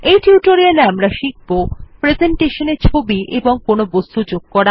এই টিউটোরিয়ালে আমরা শিখব প্রেসেন্টেশনে ছবি এবং কোনো বস্তু যোগ করা